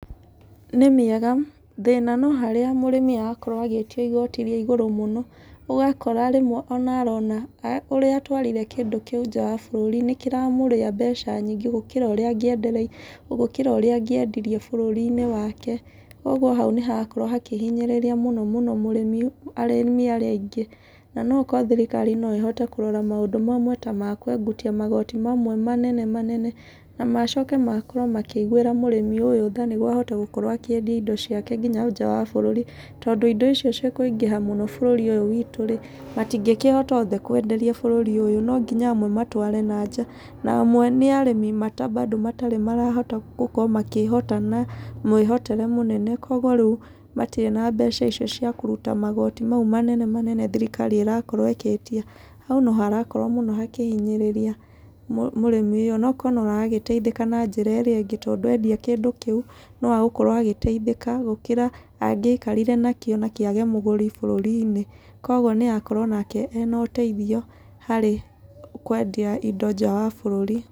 Nĩ mĩega, thĩna no harĩa mũrĩmi arakorwo agĩtio igooti rĩa igũrũ mũno. Ũgakora rĩmwe ona arona ũrĩa atwarire kĩndũ kĩu nja wa bũrũri, nĩ kĩramũrĩa mbeca nyingĩ gũkĩra ũrĩa gũkĩra ũrĩa angĩendirie bũrũri-inĩ wake. Ũguo hau nĩ harakorwo hakĩhinyĩrĩria mũno mũno mũrĩmi, arĩmi arĩa aingĩ. Na no korwo thirikari no ĩhote kũrora maũndũ mamwe ta makũengutia magoti mamwe marĩa manene manene. Na macoko makorwo makĩiguĩra mũrĩmi ũyũ tha nĩguo ahote gũkorwo akĩendi indo ciake nginya nja wa bũrũri, tondũ indo icio cikũingĩha mũno bũrũri ũyũ witũ rĩ, matingĩkĩhota othe kwenderia bũrũri ũyũ. No nginya amwe matware na nja. Na amwe nĩ arĩmi bado matarĩ marahota gũkorwo makĩhota na mwĩhotere mũnene. Kũguo rĩu matirĩ na mbeca icio cia kũruta magoti mau manene manene thirikari ĩrakorwo ĩgĩtia. Hau no harakorwo mũno hakĩhinyĩrĩria mũrĩmi ũyũ. Onokorwo no aragĩteithĩka na njĩra ĩrĩa ĩngĩ, tondũ endia kĩndũ kĩu, no agũkorwo agĩteithĩka gũkĩra angĩikarire na kĩo na kĩage mũgũri bũrũri-inĩ. Koguo nĩ arakorwo nake ena ũteithio harĩ kwendia indo nja wa bũrũri.